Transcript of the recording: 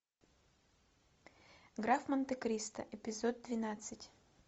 граф монте кристо эпизод двенадцать